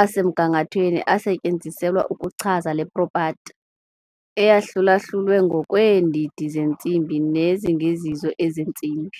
asemgangathweni asetyenziselwa ukuchaza le propati, eyahlulahlulwe ngokweendidi zentsimbi nezingezizo ezentsimbi.